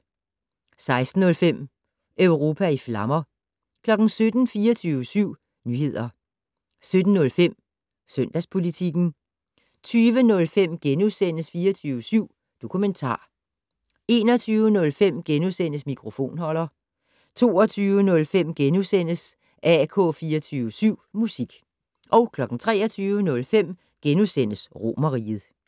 16:05: Europa i flammer 17:00: 24syv Nyheder 17:05: Søndagspolitikken 20:05: 24syv Dokumentar * 21:05: Mikrofonholder * 22:05: AK24syv Musik * 23:05: Romerriget *